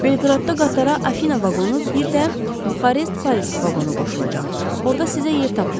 Belqradda qatara Afina vaqonu, bir də Buxarest-Paris vaqonu qoşulacaq, orada sizə yer tapılar.